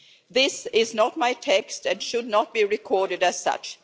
This is not my text and should not be recorded as such.